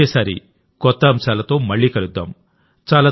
వచ్చేసారి కొత్త అంశాలతో మళ్ళీ కలుద్దాం